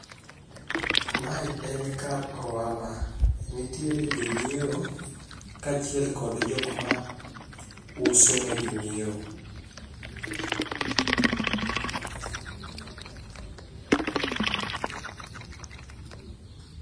ma en kar ohala nitiere jo ng'iewo ka achil kod jok ma uso ne jo ng'iewo